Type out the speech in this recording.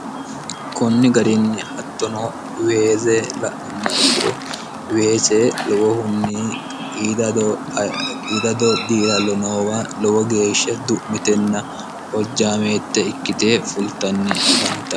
kunni garinni hattono weeze la'nomma ikkiro weese lowohunni qiidado diirallo noowa lowo geeshshe du'mitenna hojjaameette ikkite fultanni afanta